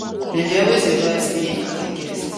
dem dey always invite spain as a guest